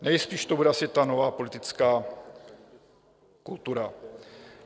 Nejspíš to bude asi ta nová politická kultura.